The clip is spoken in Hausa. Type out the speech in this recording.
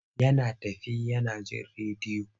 Yana tafe yana jin rediyo.